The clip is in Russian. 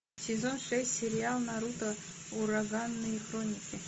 сезон шесть сериал наруто ураганные хроники